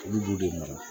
Olu b'u de mara